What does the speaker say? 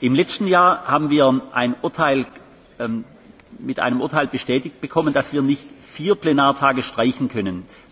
Im letzten Jahr haben wir mit einem Urteil bestätigt bekommen, dass wir nicht vier Plenartage streichen können.